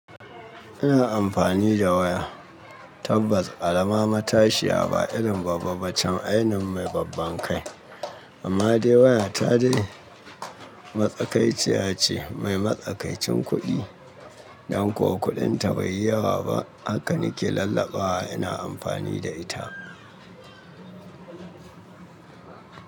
Ina amfani da waya tabbas, karaama matashiya ba irin babba ba can ainun mai babban kai. Amma dai waya ta dai matsakaiciya ce mai matsakaicin kuɗi. Dan kuwa kuɗin ta bai yi yawa ba hakan ke lallaɓawa ina amfani da ita.